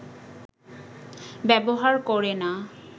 ব্যবহার করে না